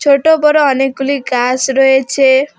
ছোট বড় অনেকগুলি গাস রয়েছে।